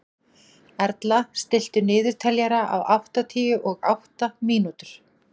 Erla, stilltu niðurteljara á áttatíu og átta mínútur.